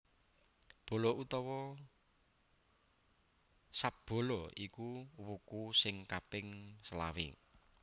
Bala utawa Sadbala iku wuku sing kaping selawé